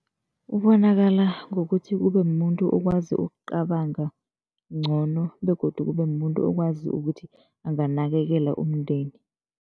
Ubonakala ngokuthi kube mumuntu okwazi ukucabanga ngcono begodu kube mumuntu okwazi ukuthi anganakekela umndeni.